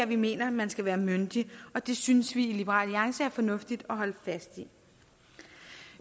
vi mener man skal være myndig og det synes vi i liberal alliance er fornuftigt at holde fast i